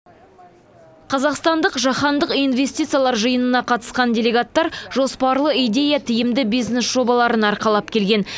қазақстандық жаһандық инвестициялар жиынына қатысқан делегаттар жоспарлы идея тиімді бизнес жобаларын арқалап келген